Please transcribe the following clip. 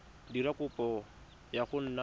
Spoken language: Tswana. dira kopo ya go nna